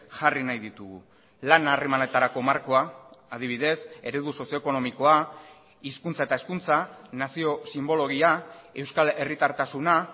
jarri nahi ditugu lan harremanetarako markoa adibidez eredu sozio ekonomikoa hizkuntza eta hezkuntza nazio sinbologia euskal herritartasuna